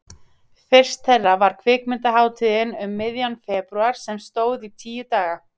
Fyrst þeirra var Kvikmyndahátíðin um miðjan febrúar sem stóð tíu daga.